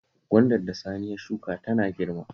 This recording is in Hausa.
Gwandar da Sani ya shuka tana girma